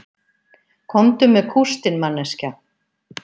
Komdu með kústinn manneskja